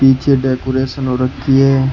पीछे डेकोरेशन हो रखी है।